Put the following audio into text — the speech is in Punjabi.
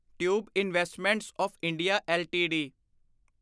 tube investments of India LTD